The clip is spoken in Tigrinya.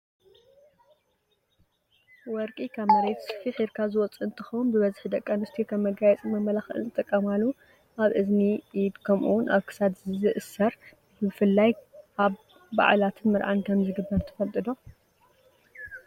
ወርቂ ካብ መሬት ፊሒርካ ዝወፅእ እንትከውን ብበዝሒ ደቂ ኣንስትዮ ከም መጋየፂን መማላክዕን ዝጥቀማሉ ኣብ እዝኒ፣ ኢድ ከምኡ'ውን ኣብ ክሳድ ዝእሰር ብፍላይ ኣብ ባዓላትን መርዓን ከምዝግበር ትፈልጡ ዶ?